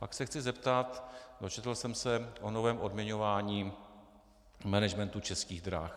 Pak se chci zeptat - dočetl jsem se o novém odměňování managementu Českých drah.